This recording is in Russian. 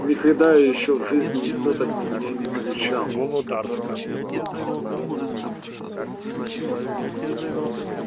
никогда ещё в жизни никто так на меня не кричал